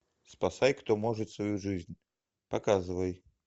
спасай кто может свою жизнь показывай